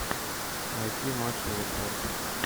найти матч уотфорд